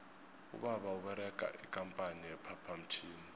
ubaba uberega ikampani ye phaphamtjhini